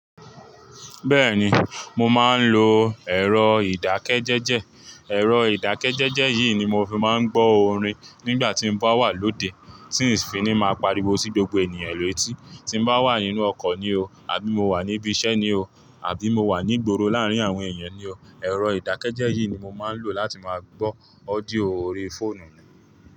Bẹ́ẹ̀ni, mo máa ń lo ẹ̀rọ ìdákẹ́jẹ́jẹ́. Ẹ̀rọ ìdákẹ́jẹ́jẹ́ yìí ni mo fi máa ń gbọ́ orin nígbà tí mo bá wà lóde, tí n si fi ní máa pariwo sí gbogbo ènìyàn létí, tí n bá wà nínú ọkọ̀ ni o, àbí mo wà níbí iṣẹ́ ni o, àbí mo wà ní gboro láàárín àwọn èèyàn ni o, ẹ̀rọ ìdákẹ́jẹ́jẹ́ yìí ni mo máa ń lò láti máa gbọ́ audio orí fóònù.